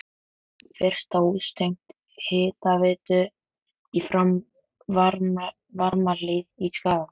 Fyrsta hús tengt hitaveitu í Varmahlíð í Skagafirði.